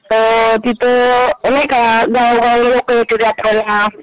अ तिथे नाही का गावोगावी लोक येतात यात्रेला.